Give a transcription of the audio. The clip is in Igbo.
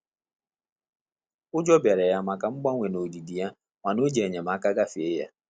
Ụjọ bịara ya maka mgbanwe nodidi ya mana o ji enyemaka gafe ya